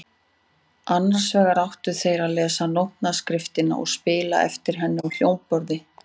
Annars vegar áttu þeir að lesa nótnaskriftina og spila eftir henni á hljómborð.